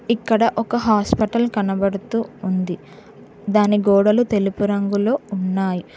ఇక్కడ ఒక హాస్పటల్ కనబడుతూ ఉంది దాన్ని గోడలు తెలుపు రంగులో ఉన్నాయి.